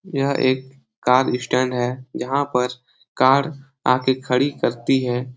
यह एक कार इस स्टैंड है। जहाँ पर कार आ कर खड़ी करती है।